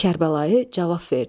Kərbəlayı cavab verdi.